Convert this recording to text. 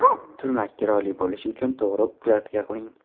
Turmak chiroyli bo‘lishi uchun to‘g‘ri ukladka qiling.